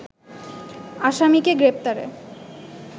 আসামিকে গ্রেপ্তারে